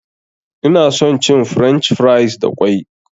Ina son cin french fries da ƙwai.